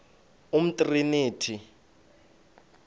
umtriniti